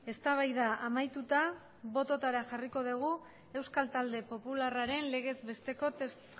eztabaida amaituta botoetara jarriko dugu euskal talde popularraren legez besteko